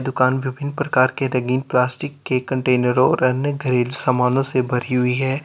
दुकान बिभिन्न प्रकार के रंगीन प्लास्टिक के कंटेनर और अन्य कई सामानों से भरी हुई है।